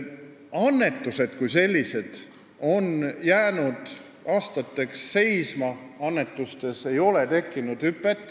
Annetused kui sellised on aastateks samale tasemel jäänud, seal ei ole hüpet tekkinud.